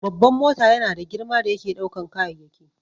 Babban mota yana da girma da yake ɗaukan kayayyaki